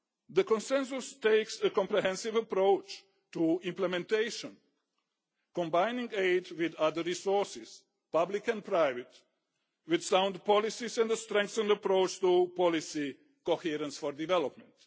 The Consensus takes a comprehensive approach to implementation, combining aid with other resources public and private sound policies and a strengthened approach to policy coherence for development.